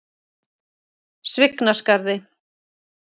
Svignaskarði